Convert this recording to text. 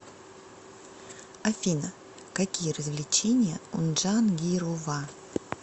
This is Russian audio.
афина какие развлечения у джангирова